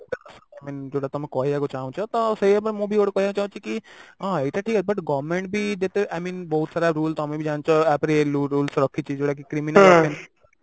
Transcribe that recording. I mean ଯୋଉଟା ତମେ କହିବାକୁ ଚାହୁଁଛ ତ ସେଇଆ ବି ମୁଁ ବି ୟାର କହିବାକୁ ଚାହୁଁଛି କି ହଁ ଏଇଟା ଠିକ ଅଛି କିନ୍ତୁ government ବି ଯେତେ I mean ବହୁତ ସାରା rule ତ ଆମେ ବି ଜାଣିଛେ ଆ ପରେ rules ବି ରଖିଛି ଯୋଉଟା କି criminal ପାଇଁ